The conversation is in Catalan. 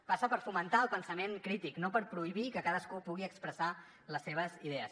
passa per fomentar el pensament crític no per prohibir que cadascú pugui expressar les seves idees